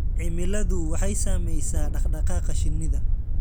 Cimiladu waxay saamaysaa dhaqdhaqaaqa shinnida.